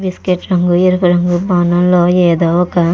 biscuit రంగు ఎరుపు రంగు భవనము లో ఏదో ఒక --